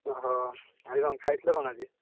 ଓହୋ! ଆଉ କଣ ଖାଇଥିଲ କଣ ଆଜି?